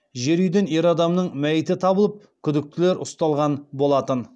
жер үйден ер адамның мәйіті табылып күдіктілер ұсталған болатын